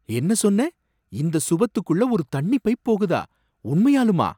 என்ன சொன்ன! இந்த சுவத்துக்குள்ள ஒரு தண்ணி பைப் போகுதா! உண்மையாலுமா!